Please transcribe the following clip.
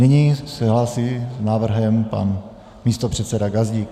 Nyní se hlásí s návrhem pan místopředseda Gazdík.